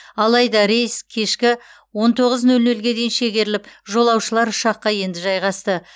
алайда рейс кешкі он тоғыз нөл нөлге дейін шегеріліп жолаушылар ұшаққа енді жайғасты